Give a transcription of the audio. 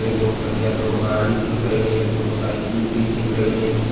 दो पहिया दो गाड़ी दिख रही हैं दो साइकिल भी दिख रही हैं।